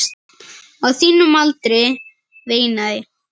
Á þínum aldri, veinaði